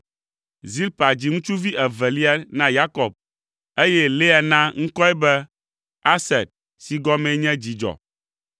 Zilpa dzi ŋutsuvi evelia na Yakob, eye Lea na ŋkɔe be Aser si gɔmee nye “Dzidzɔ”,